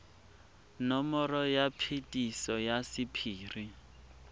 nomoro ya phetiso ya sephiri